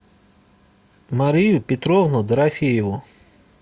марию петровну дорофееву